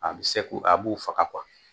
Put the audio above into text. A bi se kun a b'u faga